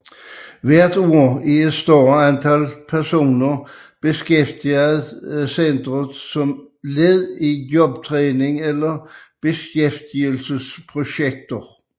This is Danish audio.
Hvert år er et større antal personer beskæftiget centret som led i jobtræning eller beskæftigelsesprojekter